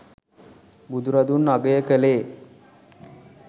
බුදුරදුන් අගය කළේ